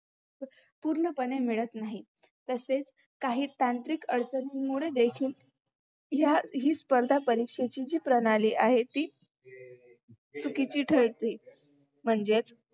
पूर्णपणे मिळत नाही तसेच काही त्रांतिक अडचणीमुळे देखील या ही स्पर्धा परीक्षेची प्रणाली आहे ती चुकीची ठरते म्हणजेच